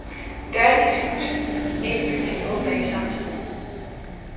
Dørene i slusen ind i bygningen åbner ikke samtidig.